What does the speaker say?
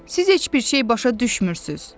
"Siz heç bir şey başa düşmürsünüz."